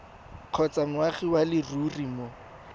kgotsa moagi wa leruri mo